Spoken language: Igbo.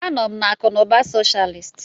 Anọ m na akụ na ụba socialist.